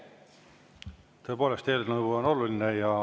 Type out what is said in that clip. Tõepoolest, eelnõu on oluline.